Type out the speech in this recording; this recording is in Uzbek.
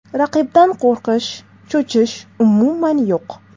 Raqibdan qo‘rqish, cho‘chish umuman yo‘q.